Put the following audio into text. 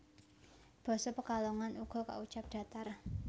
Basa Pekalongan uga kaucap datar